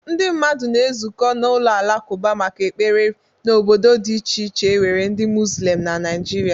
Ndị mmadụ na-ezukọ n'ụlọ alakụba maka ekpere n'obodo dị iche iche e nwere ndị mozulem na naịjirịa.